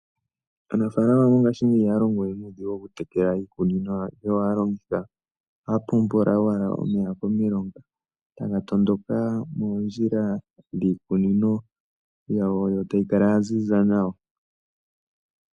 Aanafalama mongashingeyi ihaya longowe nuudhigu okutekela iikunino yawo. Ohaya pumpula owala omeya komilonga taga tondoka moondjila dhiikunono yawo tayi kala ya ziza nawa.